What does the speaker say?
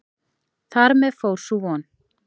Þar með fór sú von.